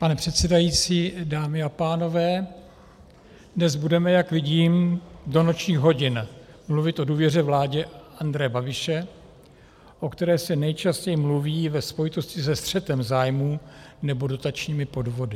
Pane předsedající, dámy a pánové, dnes budeme, jak vidím, do nočních hodin mluvit o důvěře vládě Andreje Babiše, o které se nejčastěji mluví ve spojitosti se střetem zájmů nebo dotačními podvody.